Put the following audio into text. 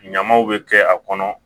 Ɲamaw bɛ kɛ a kɔnɔ